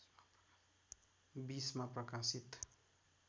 २० मा प्रकाशित